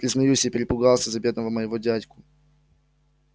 признаюсь я перепугался за бедного моего дядьку